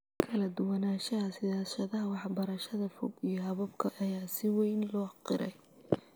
Kala duwanaanshaha siyaasadaha waxbarashada fog iyo hababka ayaa si weyn loo qiray.